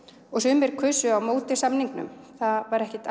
og sumir kusu á móti samningnum það var ekkert